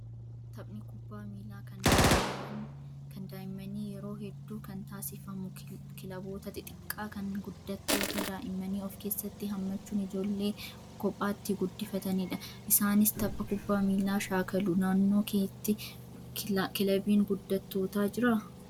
Taphni kubbaa miilaa kan daa'immanii yeroo hedduu kan taasifamu kilaboota xixiqqaa kan guddattoota daa'immanii of keessatti hammachuun ijoollee kophaatti guddifatanidha. Isaanis tapha kubbaa miilaa shaakalu. Naannoo keetti kilabiin guddattootaa jiraa?